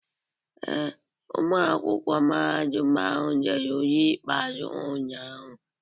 Ee, ụmụ akwụkwọ mahadum ahụ dere ule ikpeazụ ha ụnyahụ.